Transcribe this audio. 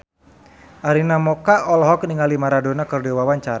Arina Mocca olohok ningali Maradona keur diwawancara